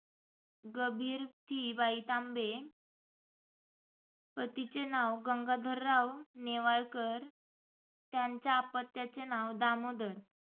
भगीरथी बाई तांबे पतीचे नाव गंगाधरराव नेवाळकर. त्यांच्या आपत्याचे नाव दामोदर